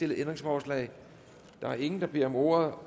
ændringsforslag der er ingen der beder om ordet